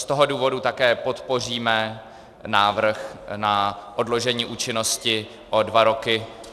Z toho důvodu také podpoříme návrh na odložení účinnosti o dva roky.